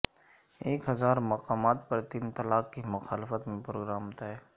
ایک ہزارمقامات پر تین طلاق کی مخالفت میں پروگرام طے